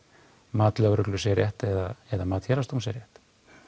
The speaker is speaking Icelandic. mat lögreglu sé rétt eða mat Héraðsdóms sé rétt